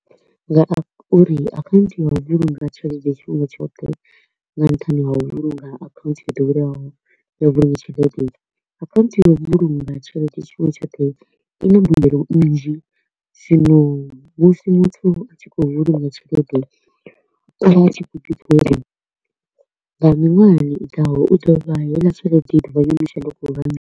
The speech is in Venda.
Nga uri account ya u vhulunga tshelede tshifhinga tshoṱhe nga nṱhani ha u vhulunga account yo ḓoweleaho ya u vhulunga tshelede, account ya u vhulunga tshelede tshifhinga tshoṱhe i na mbuelo nnzhi, zwino musi muthu a tshi kho u vhulunga tshelede, u vha a tshi kho u ḓi pfa uri nga miṅwahani i ḓaho u ḓo vha heiḽa tshelede i ḓovha yo no shanduka .